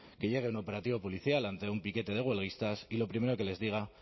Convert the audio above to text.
que llegue un operativo policial ante un piquete de huelguistas y lo primero que les diga